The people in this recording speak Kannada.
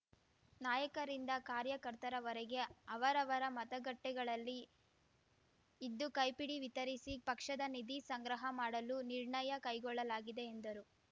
ನಾಯಕರಿಂದ ಕಾರ್ಯಕರ್ತರವರೆಗೆ ಅವರವರ ಮತಗಟ್ಟೆಗಳಲ್ಲಿ ಇದ್ದು ಕೈಪಿಡಿ ವಿತರಿಸಿ ಪಕ್ಷದ ನಿಧಿ ಸಂಗ್ರಹ ಮಾಡಲು ನಿರ್ಣಯ ಕೈಗೊಳ್ಳಲಾಗಿದೆ ಎಂದರು